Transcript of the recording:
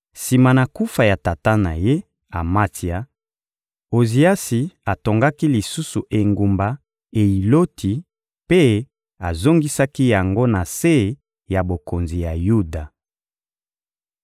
Sima na kufa ya tata na ye, Amatsia, Oziasi atongaki lisusu engumba Eyiloti mpe azongisaki yango na se ya bokonzi ya Yuda.